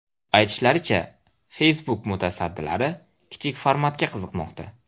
Aytilishicha, Facebook mutasaddilari kichik formatga qiziqmoqda.